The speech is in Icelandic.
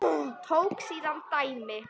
Tók síðan dæmi